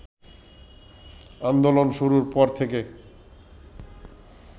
আন্দোলন শুরুর পর থেকে